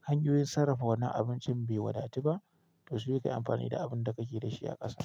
hanyoyin sarrafa wannan abincin bai wadatu ba. To sai ka yi amfani da abun da kake da shi a ƙasa.